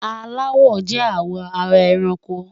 Àláwọ̀ jẹ́ àwọ̀ ara èrànkò.